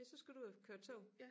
Ja så skal du ud at køre tog